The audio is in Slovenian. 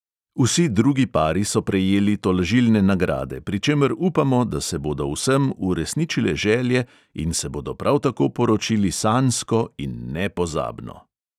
Vsi drugi pari so prejeli tolažilne nagrade, pri čemer upamo, da se bodo vsem uresničile želje in se bodo prav tako poročili sanjsko in nepozabno.